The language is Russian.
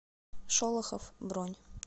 шолохов бронь